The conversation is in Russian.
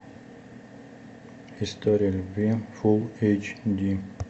история любви фулл эйч ди